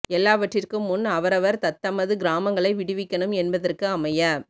எல்லாவற்றிற்கும் முன் அவரவர் தத்தமது கிராமங்களை விடுவிக்கணும் என்பதற்கு அமைய